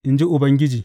In ji Ubangiji.